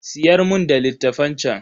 Siyar mun da littafan chan.